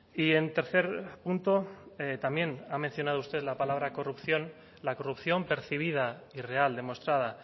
y en tercer punto también ha mencionado usted la palabra corrupción la corrupción percibida y real demostrada